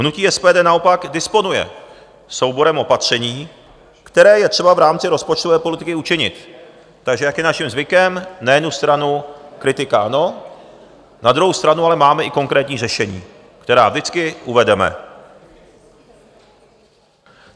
Hnutí SPD naopak disponuje souborem opatření, které je třeba v rámci rozpočtové politiky učinit, takže jak je naším zvykem, na jednu stranu kritika ANO, na druhou stranu ale máme i konkrétní řešení, která vždycky uvedeme.